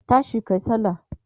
tashi kayi sallah!